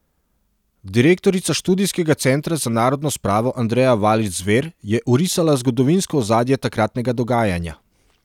Direktorica Študijskega centra za narodno spravo Andreja Valič Zver je orisala zgodovinsko ozadje takratnega dogajanja.